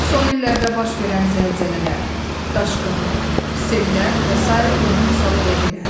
Son illərdə baş verən zəlzələlər, daşqınlar, sellər və sair buna misal ola bilər.